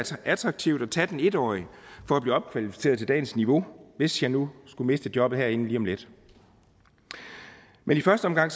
attraktivt at tage den en årige for at blive opkvalificeret til dagens niveau hvis jeg nu skulle miste jobbet herinde lige om lidt men i første omgang